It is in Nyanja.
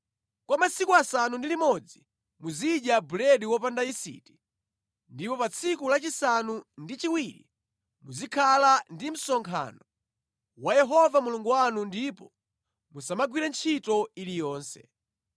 Kwa masiku asanu ndi limodzi muzidya buledi wopanda yisiti ndipo pa tsiku lachisanu ndi chiwiri muzikhala ndi msonkhano wa Yehova Mulungu wanu ndipo musamagwire ntchito iliyonse.